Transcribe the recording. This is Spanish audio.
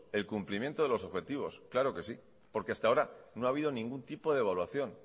el cumplimiento de los objetivos claro que sí porque hasta ahora no ha habido ningún tipo de evaluación